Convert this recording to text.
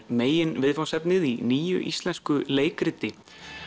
meginviðfangsefnið í nýju íslensku leikriti